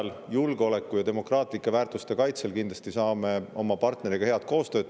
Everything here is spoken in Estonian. Julgeoleku ja demokraatlike väärtuste kaitsmiseks teeme kindlasti oma partneriga head koostööd.